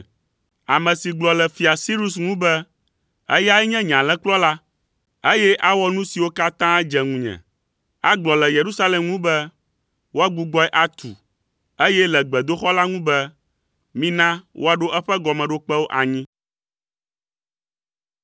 Ame si gblɔ le fia Sirus ŋu be, ‘Eyae nye nye alẽkplɔla, eye awɔ nu siwo katã dze ŋunye. Agblɔ le Yerusalem ŋu be, “Woagbugbɔe atu,” eye le gbedoxɔ la ŋu be, “Mina woaɖo eƒe gɔmeɖokpewo anyi.” ’